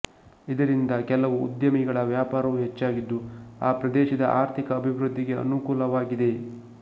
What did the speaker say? ಇದರಿಂದ ಕೆಲವು ಉದ್ಯಮಿಗಳ ವ್ಯಾಪಾರವು ಹೆಚ್ಚಾಗಿದ್ದು ಆ ಪ್ರದೇಶದ ಆರ್ಥಿಕ ಅಭಿವೃದ್ದಿಗೆ ಅನುಕೂಲವಾಗಿದೆ